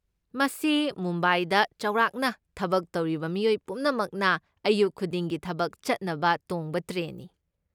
ꯃꯁꯤ ꯃꯨꯝꯕꯥꯏꯗ ꯆꯥꯎꯔꯥꯛꯅ ꯊꯕꯛ ꯇꯧꯔꯤꯕ ꯃꯤꯑꯣꯏ ꯄꯨꯝꯅꯃꯛꯅ ꯑꯌꯨꯛ ꯈꯨꯗꯤꯡꯒꯤ ꯊꯕꯛ ꯆꯠꯅꯕ ꯇꯣꯡꯕ ꯇ꯭ꯔꯦꯟꯅꯤ꯫